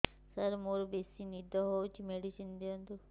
ସାର ମୋରୋ ବେସି ନିଦ ହଉଚି ମେଡିସିନ ଦିଅନ୍ତୁ